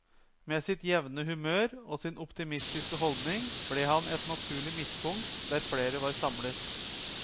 Med sitt jevne humør og sin optimistiske holdning ble han et naturlig midtpunkt der flere var samlet.